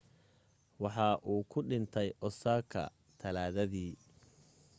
waxa uu ku dhintay osaka talaadadii